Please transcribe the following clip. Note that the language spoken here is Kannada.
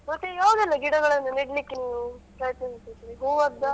ಮತ್ತೆ ಯಾವ್ದೆಲ್ಲ ಗಿಡಗಳನ್ನು ನೆಡ್ಲಿಕ್ಕೆ ನೀವು ಪ್ರಯತ್ನಿಸಿದ್ರಿ ಹೂವಾದ್ದ?